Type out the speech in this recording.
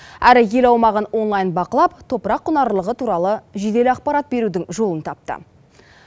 әрі ел аумағын онлайн бақылап топырақ құнарлылығы туралы жедел ақпарат берудің жолын тапты